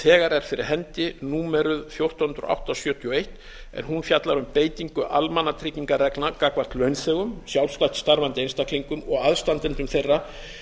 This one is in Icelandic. þegar er fyrir hendi númeruð fjórtán hundruð og átta sjötíu og eitt en hún fjallar um beitingu almannatryggingareglna gagnvart launþegum sjálfstætt starfandi einstaklingum og aðstandendum þeirra